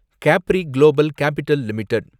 Capri global capital limited